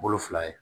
Bolo fila ye